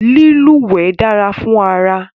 Lílúwẹ̀ dára fún ara